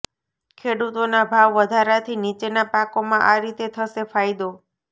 ખેડૂતોના ભાવ વધારાથી નીચેના પાકોમાં આ રીતે થશે ફાયદોઃ